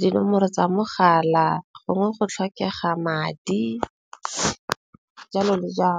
dinomoro tsa mogala, gongwe go tlhokega madi jalo le .